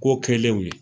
Ko kɛlenw ye